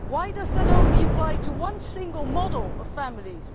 Why does that only apply to one single model of families?